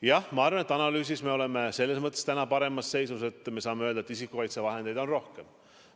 Jah, ma arvan, et analüüsi poolest me oleme selles mõttes täna paremas seisus, et me saame öelda, et isikukaitsevahendeid on rohkem.